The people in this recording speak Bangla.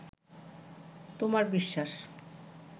তোমার বিশ্বাস